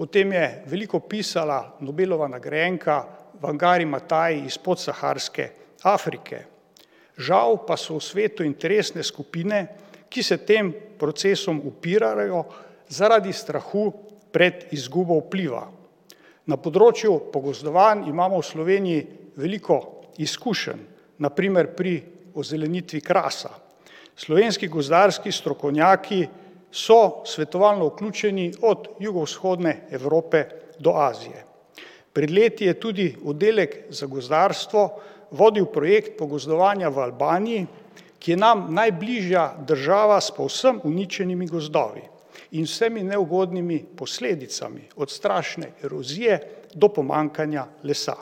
O tem je veliko pisala Nobelova nagrajenka Wangari Maathai iz podsaharske Afrike. Žal pa so v svetu interesne skupine, ki se tem procesom upirajo, zaradi strahu pred izgubo vpliva. Na področju pogozdovanj imamo v Sloveniji veliko izkušenj. Na primer pri ozelenitvi Krasa. Slovenski gozdarski strokovnjaki so svetovalno vključeni od Juhovzhodne Evrope do Azije. Pred leti je tudi oddelek za gozdarstvo vodil projekt pogozdovanja v Albaniji, ki je nam najbližja država s povsem uničenimi gozdovi in vsemi neugodnimi posledicami od strašne erozije do pomanjkanja lesa.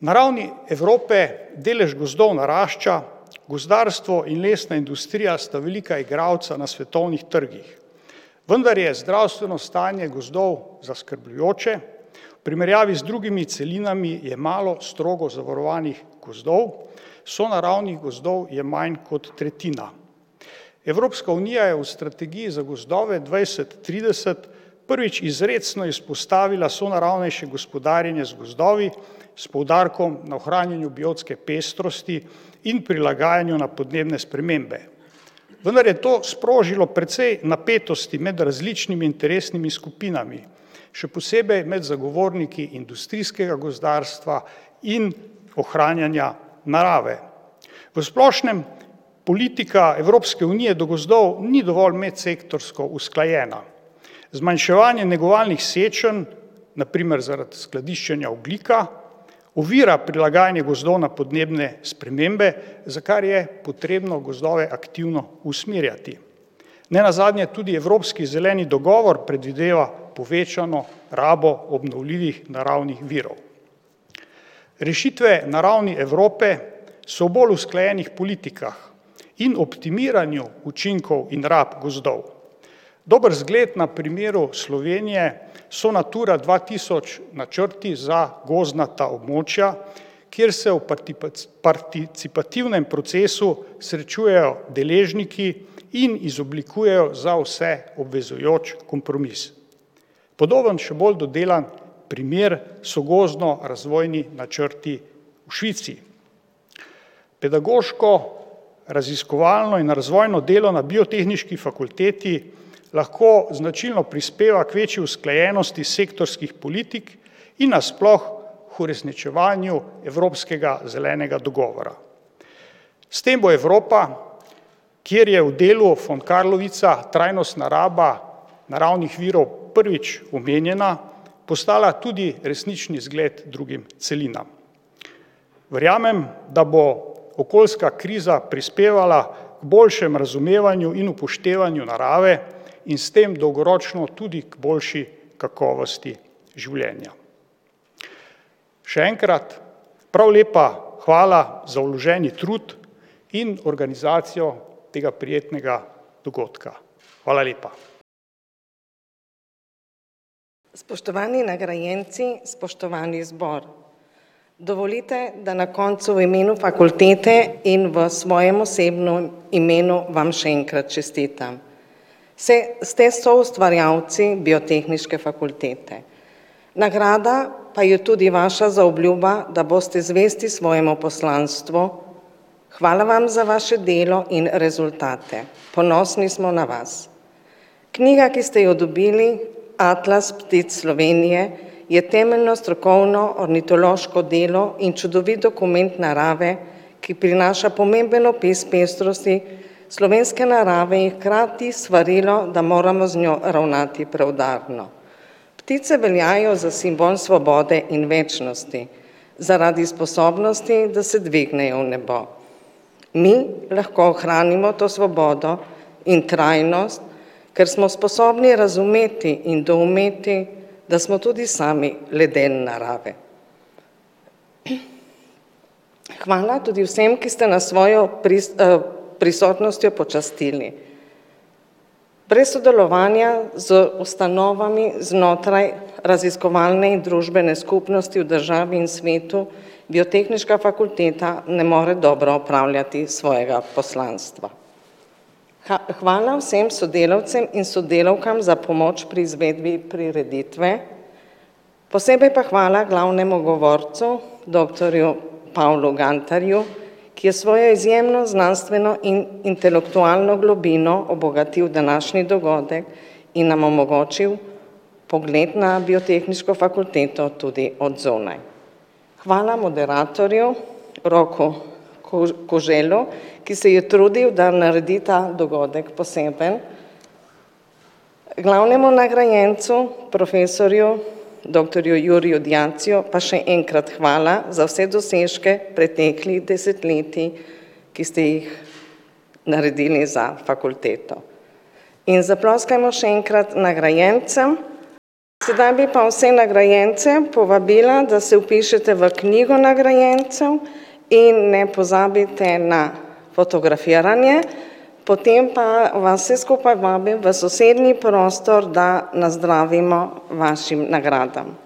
Na ravni Evrope delež gozdov narašča, gozdarstvo in lesna industrija sta velika igralca na svetovnih trgih. Vendar je zdravstveno stanje gozdov zaskrbljujoče, v primerjavi z drugimi celinami je malo strogo zavarovanih gozdov, sonaravnih gozdov je manj kot tretjina. Evropska unija je v strategiji za gozdove dvajset trideset prvič izrecno izpostavila sonaravnejše gospodarjenje z gozdovi s poudarkom na ohranjanju biotske pestrosti in prilagajanju na podnebne spremembe. Vendar je to sprožilo precej napetosti med različnimi interesnimi skupinami. Še posebej med zagovorniki industrijskega gozdarstva in ohranjanja narave. V splošnem politika Evropske unije do gozdov ni dovolj medsektorsko usklajena. Zmanjševanje negovalnih sečenj, na primer zaradi skladiščenja ogljika, ovira prilagajanje gozdov na podnebne spremembe, za kar je potrebno gozdove aktivno usmerjati. Nenazadnje tudi evropski zeleni dogovor predvideva povečano rabo obnovljivih naravnih virov. Rešitve na ravni Evrope so v bolj usklajenih politikah in optimiranju učinkov in rabi gozdov. Dober zgled na primeru Slovenije so Natura dva tisoč načrti za gozdnata območja, kje se v participativnem procesu srečujejo deležniki in izoblikujejo za vse obvezujoč kompromis. Podoben, še bolj dodelan primer so gozdnorazvojni načrti v Švici. Pedagoško, raziskovalno in razvojno delo na biotehniški fakulteti lahko značilno prispeva k večji usklajenosti sektorskih politik in nasploh k uresničevanju evropskega zelenega dogovora. S tem bo Evropa, kjer je v delu von Carlowitza trajnostna raba naravnih virov prvič omenjena, postala tudi resnični zgled drugim celinam. Verjamem, da bo okoljska kriza prispevala k boljšemu razumevanju in upoštevanju narave in s tem dolgoročno tudi k boljši kakovosti življenja. Še enkrat prav lepa hvala za vloženi trud in organizacijo tega prijetnega dogodka. Hvala lepa. Spoštovani nagrajenci, spoštovani zbor, dovolite, da na koncu v imenu fakultete in v svojem osebnem imenu vam še enkrat čestitam. ste soustvarjalci Biotehniške fakultete. Nagrada pa je tudi vaša zaobljuba, da boste zvesti svojemu poslanstvu. Hvala vam za vaše delo in rezultate, ponosni smo na vas. Knjiga, ki ste jo dobili, Atlas ptic Slovenije, je temeljno strokovno ornitološko delo in čudovit dokument narave, ki prinaša pomemben opis pestrosti slovenske narave in hkrati svarilo, da moramo z njo ravnati preudarno. Ptice veljajo za simbol svobode in večnosti. Zaradi sposobnosti, da se dvignejo v nebo. Mi lahko ohranimo to svobodo in trajnost, ker smo sposobni razumeti in doumeti, da smo tudi sami le del narave. Hvala tudi vsem, ki ste nas s svojo prisotnostjo počastili. Brez sodelovanja z ustanovami znotraj raziskovalne in družbene skupnosti v državi in svetu Biotehniška fakulteta ne more dobro opravljati svojega poslanstva. hvala vsem sodelavcem in sodelavkam za pomoč pri izvedbi prireditve, posebej pa hvala glavnemu govorcu doktorju Pavlu Gantarju, ki je s svojo izjemno znanstveno in intelektualno globino obogatil današnji dogodek in nam omogočil pogled na Biotehniško fakulteto tudi od zunaj. Hvala moderatorju Roku Koželu, ki se je trudil, da naredi ta dogodek poseben, glavnemu nagrajencu profesorju doktorju Juriju Diaciju pa še enkrat hvala za vse dosežke preteklih desetletij, ki ste jih naredili za fakulteto. In zaploskajmo še enkrat nagrajencem. Sedaj bi pa vse nagrajence povabila, da se vpišete v knjigo nagrajencev in ne pozabite na fotografiranje, potem pa vas vse skupaj vabim v sosednji prostor, da nazdravimo vašim nagradam.